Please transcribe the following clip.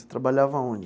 Você trabalhava onde?